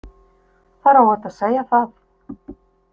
Það er óhætt að segja það.